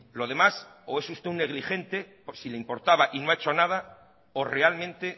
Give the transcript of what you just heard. lo demás o esusted un negligente si le importaba y no ha hecho nada o realmente